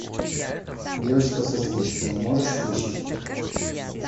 девочка со спичками можешь включить